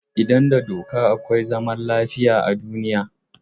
Idan da doka akwai zaman lafiya a duniya.